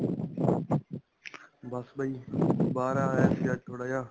ਬਸ ਬਾਈ, ਬਾਹਰ ਆਇਆ ਸੀ ਅੱਜ ਥੋੜਾ ਜਿਹਾ.